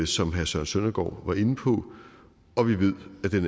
som herre søren søndergaard var inde på og vi ved at den